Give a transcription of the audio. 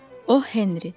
O. Henry.